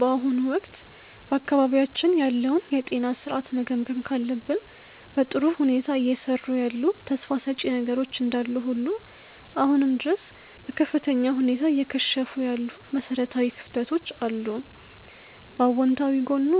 በአሁኑ ወቅት በአካባቢያችን ያለውን የጤና ሥርዓት መገምገም ካለብን፣ በጥሩ ሁኔታ እየሰሩ ያሉ ተስፋ ሰጪ ነገሮች እንዳሉ ሁሉ አሁንም ድረስ በከፍተኛ ሁኔታ እየከሸፉ ያሉ መሠረታዊ ክፍተቶች አሉ። በአዎንታዊ ጎኑ